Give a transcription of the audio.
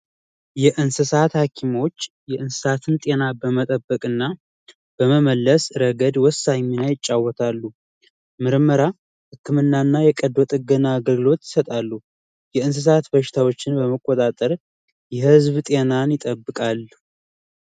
የእንስሳት ሀኪሞች የእንስሳትን ጤና በመጠበቅ እና በመመለስ ረገድ ወሳኝ አይጫወታሉ ምርመራ ህክምናና የቀዶ ጥገና አገልግሎት እሰጣሉ የእንስሳት በሽታዎችን በመቆጣጠር የህዝብ ጤና ይጠብቃሉ